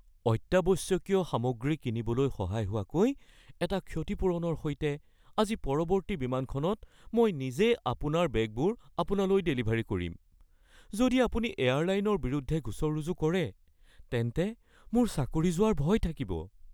অত্যাৱশ্যকীয় সামগ্ৰী কিনিবলৈ সহায় হোৱাকৈ এটা ক্ষতিপূৰণৰ সৈতে আজি পৰৱৰ্তী বিমানখনত মই নিজেই আপোনাৰ বেগবোৰ আপোনালৈ ডেলিভাৰী কৰিম। যদি আপুনি এয়াৰলাইনৰ বিৰুদ্ধে গোচৰ ৰুজু কৰে, তেন্তে মোৰ চাকৰি যোৱাৰ ভয় থাকিব। (বিমান কৰ্মচাৰী)